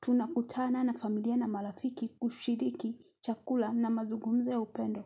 tunakutana na familia na marafiki kushiriki chakula na mazugumzo kwanza ya upendo.